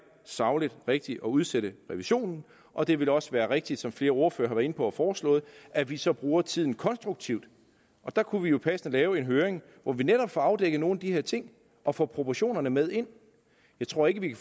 sagligt rigtigt at udsætte revisionen og det vil også være rigtigt som flere ordførere inde på og foreslået at vi så bruger tiden konstruktivt og der kunne vi jo passende lave en høring hvor vi netop får afdækket nogle af de her ting og får proportionerne med ind jeg tror ikke at vi